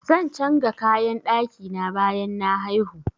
Zan changa kayan ɗaki na bayan na haihu.